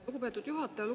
Lugupeetud juhataja!